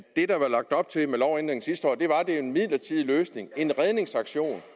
det der var lagt op til med lovændringen sidste år var en midlertidig løsning en redningsaktion